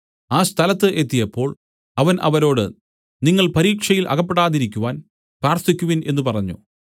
ആ സ്ഥലത്ത് എത്തിയപ്പോൾ അവൻ അവരോട് നിങ്ങൾ പരീക്ഷയിൽ അകപ്പെടാതിരിക്കുവാൻ പ്രാർത്ഥിക്കുവിൻ എന്നു പറഞ്ഞു